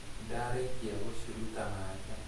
Nĩndarĩkia gũciruta na nja